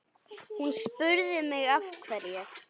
Hún spurði mig af hverju?